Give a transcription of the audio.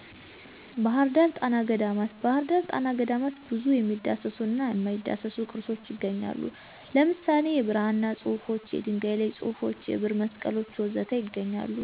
ባህር ዳር ጣና ገዳማት ባህርዳር ጣና ገዳማት ብዙ የሚዳሰሱና የማይዳሰሱ ቅርሶች ይገኛሉ። ለምሳሌ:- የብራና ፅሑፎች፣ የድንጋይ ላይ ፁሑፎች፣ የብር መስቀሎች ወዘተ ይገኛሉ